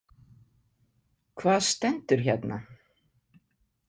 Hvað stendur hérna?